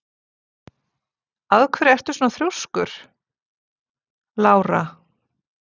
Af hverju ertu svona þrjóskur, Lára?